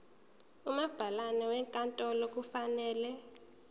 umabhalane wenkantolo kufanele